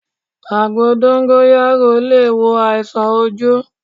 Àgbo dóngóyárò le è wo àìsàn ojú